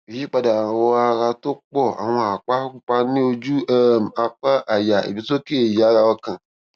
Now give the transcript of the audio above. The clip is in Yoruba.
ìyípadà àwọ ara tó pọ àwọn àpá pupa ní ojú um apá àyà ìgbésókè ìyára ọkàn